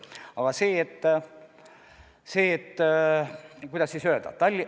Aga kuidas öelda ...